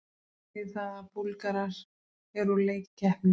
Þetta þýðir það að Búlgarar eru úr leik í keppninni.